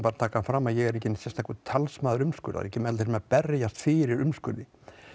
að taka það fram að ég er enginn sérstakur talsmaður umskurðar og kem aldrei til með að berjast fyrir umskurði